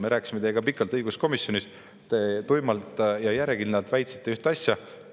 Me rääkisime teiega pikalt õiguskomisjonis, te tuimalt ja järjekindlalt väitsite ühte asja.